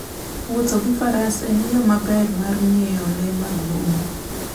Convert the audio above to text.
Wuotho gi faras en yo maber mar ng'iyo le mag bungu.